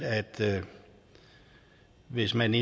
at hvis man